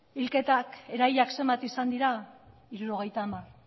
hilketak erailak zenbat izan dira hirurogeita hamar